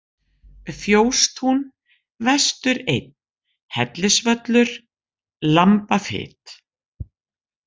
Fjóstún, Vestur 1, Hellisvöllur, Lambafit